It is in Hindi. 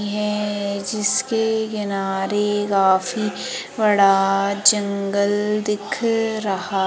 हैं जिसके किनारे काफी बड़ा जंगल दिख रहा--